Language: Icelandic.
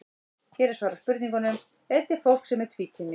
Hér er svarað spurningunum: Er til fólk sem er tvíkynja?